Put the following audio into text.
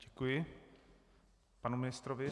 Děkuji panu ministrovi.